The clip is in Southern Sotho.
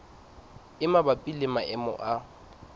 e mabapi le maemo a